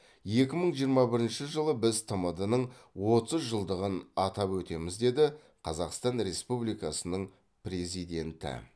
екі мың жиырма бірінші жылы біз тмд ның отыз жылдығын атап өтеміз деді қазақстан республикасының президенті